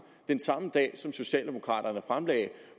den samme dag som socialdemokraterne fremlagde